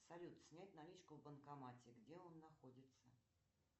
салют снять наличку в банкомате где он находится